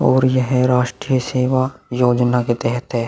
और यह है राष्ट्रीय सेवा योजना के तहत है।